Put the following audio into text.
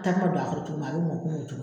Takuma don a kɔrɔ cogo min a bɛ mɔn komi